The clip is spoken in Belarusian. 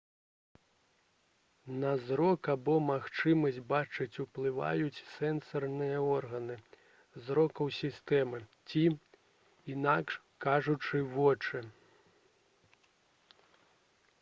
на зрок або магчымасць бачыць уплываюць сэнсарныя органы зрокавай сістэмы ці інакш кажучы вочы